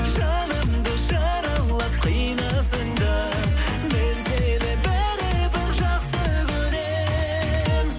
жанымды жаралап қинасаң да мен сені бәрібір жақсы көрем